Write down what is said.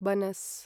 बनस्